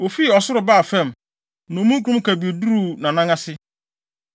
Ofii ɔsoro baa fam; na omununkum kabii duruu nʼanan ase.